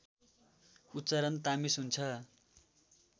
उच्चारण तामेस हुन्छ